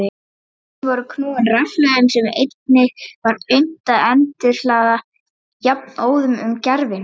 Tækin voru knúin rafhlöðum sem einnig var unnt að endurhlaða jafnóðum um gervihnött.